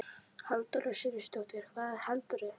Halldóra Sigurðardóttir: Hvað heldurðu?